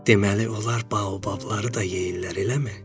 Deməli onlar baobabları da yeyirlər, eləmi?